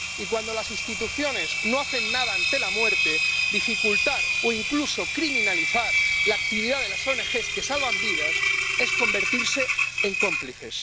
Y, cuando las instituciones no hacen nada ante la muerte, dificultar o incluso criminalizar la actividad de las ONG que salvan vidas es convertirse en cómplices.